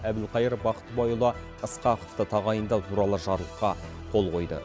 әбілқайыр бақтыбайұлы ысқақовты тағайындау туралы жарлыққа қол қойды